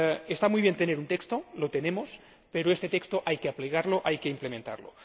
Está muy bien tener un texto lo tenemos pero este texto hay que aplicarlo, hay que implementarlo.